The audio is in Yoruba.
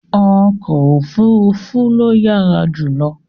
Ọkọ òfuurufú ló yára jù